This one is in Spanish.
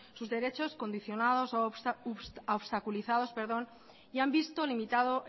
sus derechos condicionados u obstaculizados y se han visto limitado